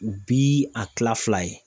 Bi a kila fila ye.